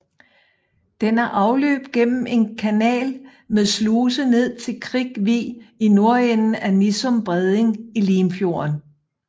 Den har afløb gennem en kanal med sluse ned til Krik Vig i nordenden af Nissum Bredning i Limfjorden